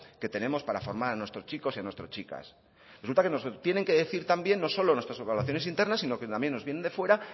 que tenemos para formar a nuestros chicos y a nuestras chicas resultan que nos lo tienen que decir también no solo nuestras valoraciones internas sino que nos vienen de fuera